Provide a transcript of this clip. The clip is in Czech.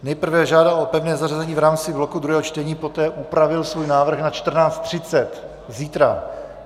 Nejprve žádal o pevné zařazení v rámci bloku druhého čtení, poté upravil svůj návrh na 14.30 zítra.